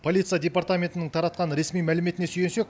полиция департаментінің таратқан ресми мәліметіне сүйенсек